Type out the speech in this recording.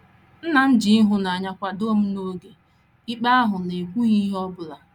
Nna m ji ịhụnanya ji ịhụnanya kwadoo m n’oge ikpe ahụ n’ekwughị ihe ọ bụla.